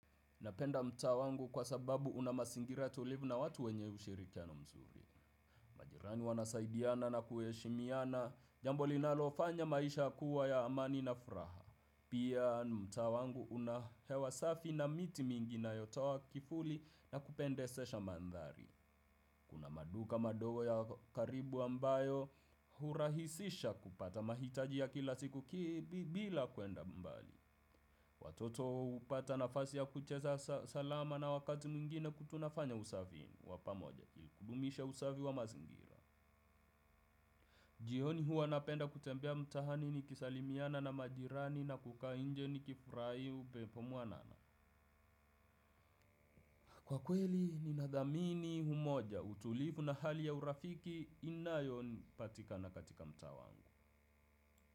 Napenda mtaa wangu kwa sababu una mazingira tulivu na watu wenye ushirikiano mzuri. Majirani wanasaidiana na kuheshimiana, jambo linalofanya maisha kuwa ya amani na furaha. Pia mtaa wangu kuna hewa safi na miti mingi yanayotowa kifuli na kupendesha maandhari. Kuna maduka madogo ya karibu ambayo hurahisisha kupata mahitaji ya kila siku bila kuenda mbali. Watoto hupata nafasi ya kucheza salama na wakati mwingine tunafanya usafi wa pamoja ili kudumisha usafi wa mazingira. Jioni huwa napenda kutembea mtaani nikisalimiana na majirani na kukaa nje nikifurahi upepo mwanana. Kwa kweli ninadhamini umoja utulivu na hali ya urafiki inayo nipatika na katika mta wangu.